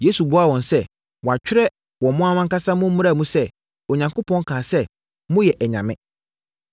Yesu buaa wɔn sɛ, “Wɔatwerɛ wɔ mo ara ankasa mo mmara mu sɛ, Onyankopɔn kaa sɛ, ‘Moyɛ anyame.’